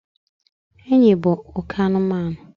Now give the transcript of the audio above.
enyi bụ oke anụmanụ